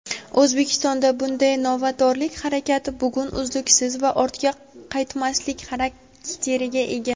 O‘zbekistonda bunday novatorlik harakati bugun uzluksizlik va ortga qaytmaslik xarakteriga ega.